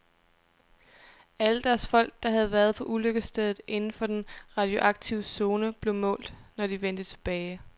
Alle deres folk, der havde været på ulykkesstedet inden for den radioaktive zone, blev målt, når de vendte tilbage.